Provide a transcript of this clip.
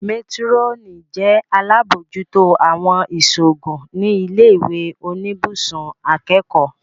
Métírọ́nì jẹ́ alábòójútó àwọn ìṣòògùn ní ilé ìwé oníbùsùn akẹ́kọ̀ọ́